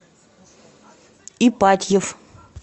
ипатьев